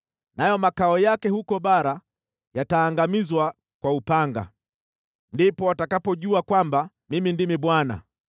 nayo makao yake huko bara yataangamizwa kwa upanga. Ndipo watakapojua kwamba Mimi ndimi Bwana .